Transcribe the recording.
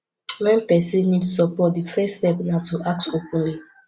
when person need support di first step na to ask openly